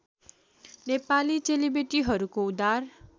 नेपाली चेलीबेटीहरूको उद्धार